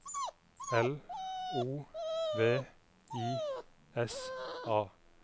L O V I S A